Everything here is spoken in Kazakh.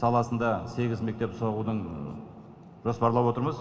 саласында сегіз мектеп соғудың жоспарлап отырмыз